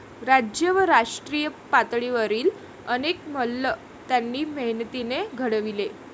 राज्य व राष्ट्रीय पातळीवरील अनेक मल्ल त्यांनी मेहनतीने घडविले.